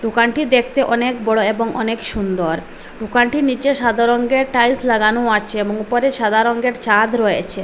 দোকানটি দেখতে অনেক বড় এবং অনেক সুন্দর দোকানটির নীচে সাদার রঙ্গের টাইলস লাগানো আছে এবং উপরে সাদা রঙ্গের ছাদ রয়েছে।